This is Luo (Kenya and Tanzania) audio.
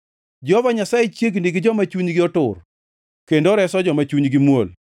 Jehova Nyasaye chiegni gi joma chunygi otur kendo oreso joma chunygi muol.